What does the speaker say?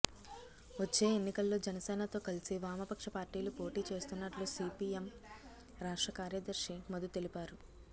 వచ్చే ఎన్నికల్లో జనసేనతో కలిసి వామపక్ష పార్టీలు పోటీ చేస్తున్నట్లు సీపీఎం రాష్ట్ర కార్యదర్శి మధు తెలిపారు